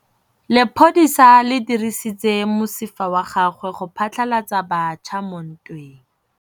Lepodisa le dirisitse mosifa wa gagwe go phatlalatsa batšha mo ntweng.